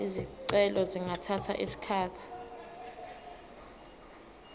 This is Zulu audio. izicelo zingathatha isikhathi